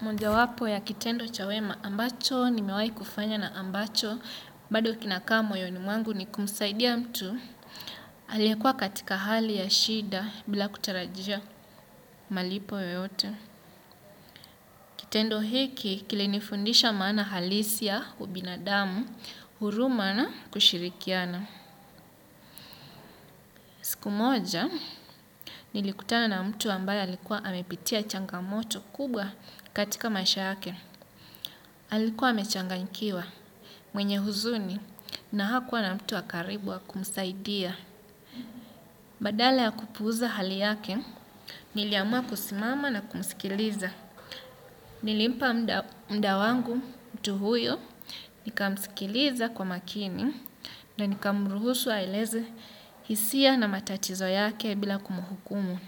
Mojawapo ya kitendo cha wema ambacho nimewahi kufanya na ambacho bado kinakaa moyoni mwangu ni kumsaidia mtu aliyekuwa katika hali ya shida bila kutarajia malipo yoyote. Kitendo hiki kilinifundisha maana halisi ya ubinadamu huruma na kushirikiana. Siku moja nilikutana na mtu ambaye alikuwa amepitia changamoto kubwa katika maisha yake. Alikuwa amechanganyikiwa mwenye huzuni na hakuwa na mtu wa karibu wa kumsaidia. Badala ya kupuuza hali yake niliamua kusimama na kumsikiliza. Nilimpa muda wangu mtu huyo nikamskiliza kwa makini. Na nikamruhusu aeleze hisia na matatizo yake bila kumhukumu.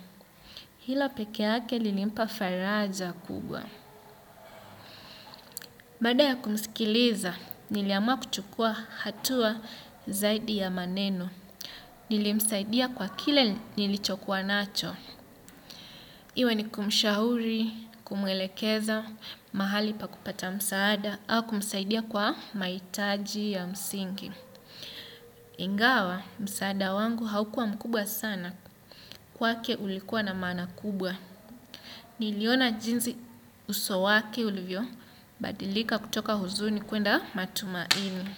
Hilo peke yake lilimpa faraja kubwa. Baada ya kumsikiliza, niliamua kuchukua hatua zaidi ya maneno. Nilimsaidia kwa kile nilichokuwa nacho. Iwe ni kumshauri, kumwelekeza, mahali pa kupata msaada, au kumsaidia kwa mahitaji ya msingi. Ingawa, msaada wangu haukua mkubwa sana kwake ulikuwa na maana kubwa. Niliona jinsi uso wake ulivyobadilika kutoka huzuni kuenda matumaini.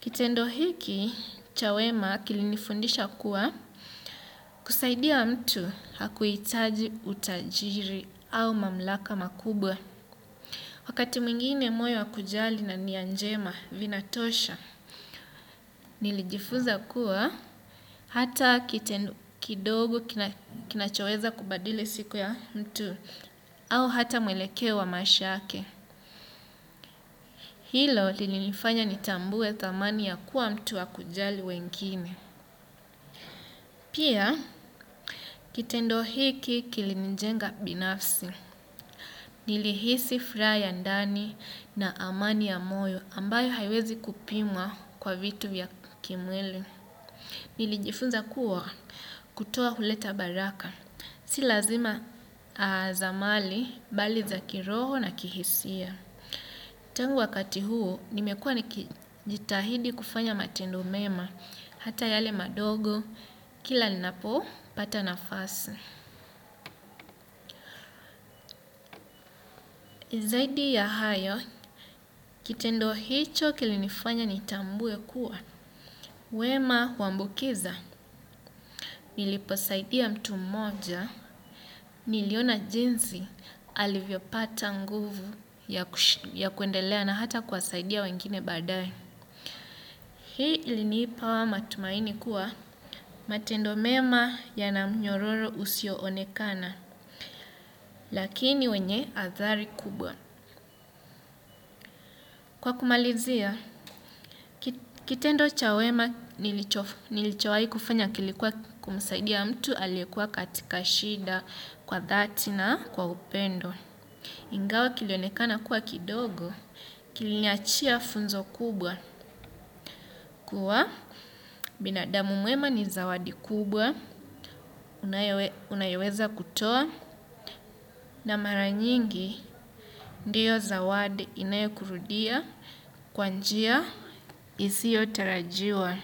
Kitendo hiki, cha wema kilinifundisha kuwa kusaidia mtu hakuhitaji utajiri au mamlaka makubwa. Wakati mwingine moyo wa kujali na nia njema vinatosha. Nilijifunza kuwa hata kitendo kidogo kinachoweza kubadili siku ya mtu au hata mwelekeo wa maisha yake. Hilo lilinifanya nitambue thamani ya kuwa mtu wa kujali wengine. Pia kitendo hiki kilinijenga binafsi. Nilihisi furaha ya ndani na amani ya moyo ambayo haiwezi kupimwa kwa vitu ya kimwili. Nilijifunza kuwa kutoa huleta baraka. Si lazima za mali, bali za kiroho na kihisia. Tangu wakati huu, nimekuwa nikijitahidi kufanya matendo mema. Hata yale madogo, kila ninapopata nafasi. Zaidi ya hayo, kitendo hicho kilinifanya nitambue kuwa. Wema huambukiza. Niliposaidia mtu mmoja, niliona jinsi alivyopata nguvu ya kuendelea na hata kuwasaidia wengine baadaye. Hii ilinipa matumaini kuwa matendo mema yana mnyororo usioonekana, lakini wenye athari kubwa. Kwa kumalizia, kitendo cha wema nilichowahi kufanya kilikuwa kumsaidia mtu aliyekuwa katika shida kwa dhati na kwa upendo. Ingawa kilionekana kuwa kidogo kiliniachia funzo kubwa kuwa binadamu mwema ni zawadi kubwa unayoweza kutoa na mara nyingi ndiyo zawadi inayokurudia kwa njia isiyotarajiwa.